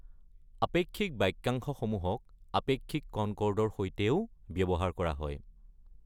আপেক্ষিক বাক্যাংশসমূহক আপেক্ষিক কনকৰ্ডৰ সৈতেও ব্যৱহাৰ কৰা হয়।